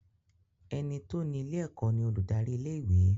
Ẹní tó ni ilé ẹ̀kọ́ ni olùdarí ilé ìwé.